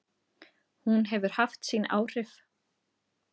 Hún hefur haft sín áhrif.